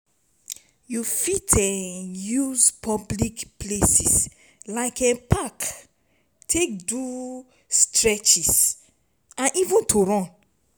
you fit um use public places like park take do stretches and even to run